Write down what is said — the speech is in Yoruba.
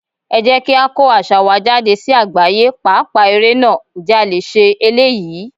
Ẹ jẹ́ kí á kọ́ àṣà wa jáde sí àgbáyé, pàápàá ère náà, ǹjẹ́ a lè ṣe eléyìí?